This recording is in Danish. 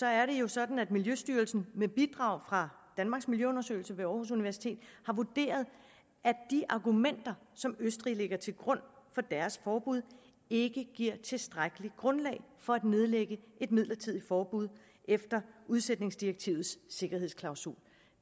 er det jo sådan at miljøstyrelsen med bidrag fra danmarks miljøundersøgelser ved aarhus universitet har vurderet at de argumenter som østrig lægger til grund for deres forbud ikke giver tilstrækkeligt grundlag for at nedlægge et midlertidigt forbud efter udsætningsdirektivets sikkerhedsklausul